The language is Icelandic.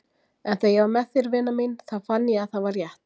En þegar ég var með þér vina mín þá fann ég að það var rétt.